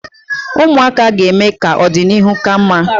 Ụmụaka ga-eme ka ọdịnihu ka mma.